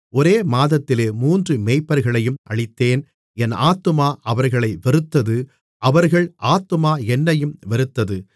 ஒரே மாதத்திலே மூன்று மேய்ப்பர்களையும் அழித்தேன் என் ஆத்துமா அவர்களை வெறுத்தது அவர்கள் ஆத்துமா என்னையும் வெறுத்தது